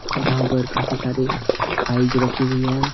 जहां पर काफी सारी फाइल्ज रखी हुई हैं।